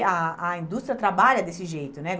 E a a indústria trabalha desse jeito, né?